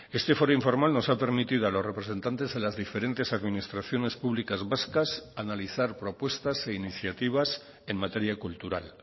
este foro informal nos ha permitido a los representantes de las diferentes administraciones públicas vascas analizar propuestas e iniciativas en materia cultural